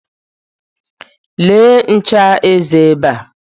Lee ncha eze ebe a.